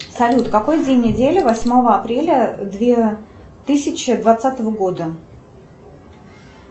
салют какой день недели восьмого апреля две тысячи двадцатого года